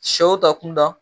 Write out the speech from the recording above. Shɛw ta kunda.